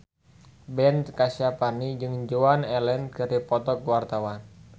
Ben Kasyafani jeung Joan Allen keur dipoto ku wartawan